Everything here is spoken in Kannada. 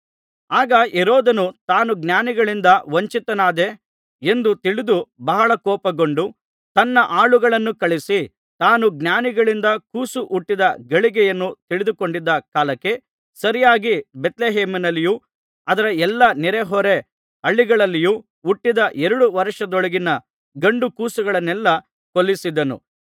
ಆಗ ಹೆರೋದನು ತಾನು ಜ್ಞಾನಿಗಳಿಂದ ವಂಚಿತನಾದೆ ಎಂದು ತಿಳಿದು ಬಹಳ ಕೋಪಗೊಂಡು ತನ್ನ ಆಳುಗಳನ್ನು ಕಳುಹಿಸಿ ತಾನು ಜ್ಞಾನಿಗಳಿಂದ ಕೂಸು ಹುಟ್ಟಿದ್ದ ಗಳಿಗೆಯನ್ನು ತಿಳಿದುಕೊಂಡಿದ್ದ ಕಾಲಕ್ಕೆ ಸರಿಯಾಗಿ ಬೇತ್ಲೆಹೇಮಿನಲ್ಲಿಯೂ ಅದರ ಎಲ್ಲಾ ನೆರೆಹೊರೆ ಹಳ್ಳಿಗಳಲ್ಲಿಯೂ ಹುಟ್ಟಿದ ಎರಡು ವರ್ಷದೊಳಗಿನ ಗಂಡು ಕೂಸುಗಳನ್ನೆಲ್ಲಾ ಕೊಲ್ಲಿಸಿದನು